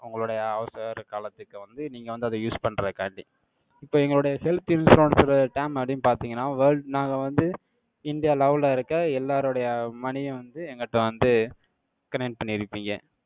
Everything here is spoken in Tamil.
உங்களுடைய அவசர காலத்துக்கு வந்து, நீங்க வந்து, அதை use பண்றதுக்காண்டி, இப்ப எங்களுடைய health insurance ஓட term அப்படின்னு பார்த்தீங்கன்னா, world நாங்க வந்து, இந்தியா level ல இருக்க, எல்லாருடைய money யும் வந்து, எங்கட்ட வந்து, connect பண்ணிருப்பீங்க.